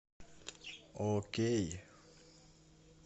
окей